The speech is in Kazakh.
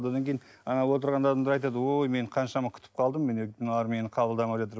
одан кейін ана отырғандар айтады ой мен қаншама күтіп қалдым мыналар мені қабылдамай жатыр